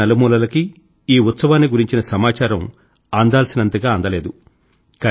దేశం నలుమూలలకీ ఈ ఉత్సవాన్ని గురించిన సమాచారం అందాల్సినంతగా అందలేదు